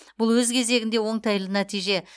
бұл өз кезегінде оңтайлы нәтиже